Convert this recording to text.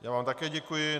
Já vám také děkuji.